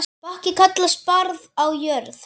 Bakki kallast barð á jörð.